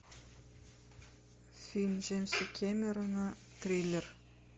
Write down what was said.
фильм джеймса кэмерона триллер